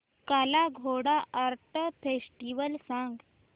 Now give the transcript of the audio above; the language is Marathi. काला घोडा आर्ट फेस्टिवल सांग